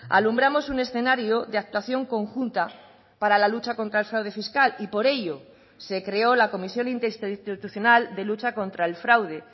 alumbramos un escenario de actuación conjunta para la lucha contra el fraude fiscal y por ello se creó la comisión interinstitucional de lucha contra el fraude